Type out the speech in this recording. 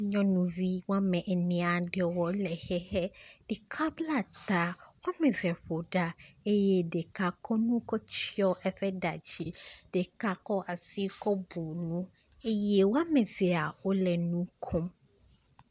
Nyɔnuvi wɔme ene aɖewo le xixe. Ɖeka bla ta. Wɔme eve ƒoɖa eye ɖeka kɔ nu kɔ tsɔ eƒe ɖa dzi ɖeka kɔ asi kɔ bu nu eye wɔme evea wo le nu kom.